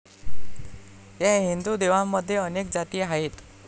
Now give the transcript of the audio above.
या हिंदू देवांमध्ये अनेक जाती आहेत.